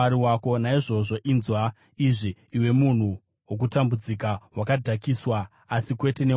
Naizvozvo inzwa izvi, iwe munhu wokutambudzika, wakadhakiswa asi kwete newaini.